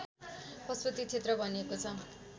पशुपति क्षेत्र भनिएको छ